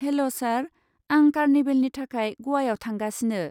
हेल' sir, आं कार्निभेलनि थाखाय ग'वाआव थांगासिनो।